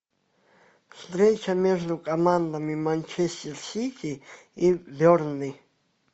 встреча между командами манчестер сити и бернли